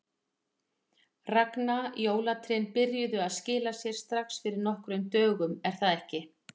Ragna, jólatrén byrjuðu að skila sér strax fyrir nokkrum dögum er það ekki?